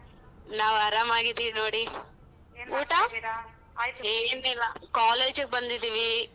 ನಾವು ಆರಾಮಾಗಿದ್ದೀವಿ ನೋಡಿ college ಗ ಬಂದಿದ್ದೀವಿ.